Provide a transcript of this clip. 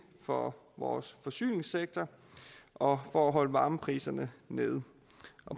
for vores forsyningssektor og for at holde varmepriserne nede